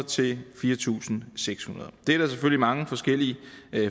til fire tusind seks hundrede det er der selvfølgelig mange forskellige